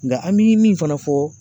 Nka an bi min fana fɔ